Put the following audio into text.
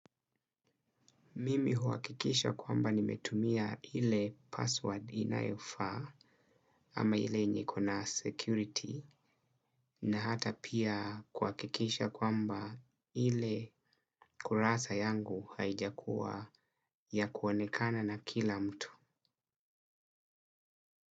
Mimi huhakikisha kwamba nimetumia ile password inayofaa ama ile yenye iko na security na hata pia kuhakikisha kwamba ile kurasa yangu haijakuwa ya kuonekana na kila mtu.